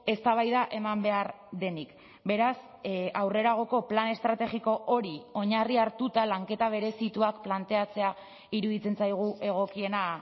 eztabaida eman behar denik beraz aurreragoko plan estrategiko hori oinarri hartuta lanketa berezituak planteatzea iruditzen zaigu egokiena